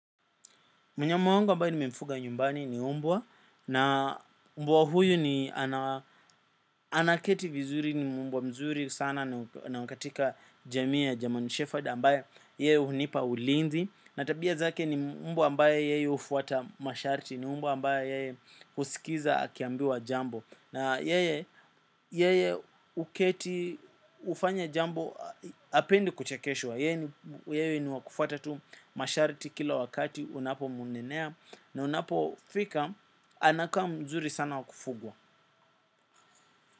Mnyama wangu ambaye nimemfuga nyumbani ni mbwa. Na mbwa huyu ni anaketi vizuri ni mbwa mzuri sana na wa katika jamii ya german shepherd ambayo yeye hunipa ulinzi. Na tabia zake ni mbwa ambaye yeye hufuata masharti ni mbwa ambaye yeye husikiza akiambiwa jambo. Na yeye huketi hufanya jambo hapendi kuchekeshwa. Yeye ni wa kufuata tu masharti kila wakati unapomnenea na unapofika anakaa mzuri sana wa kufugwa.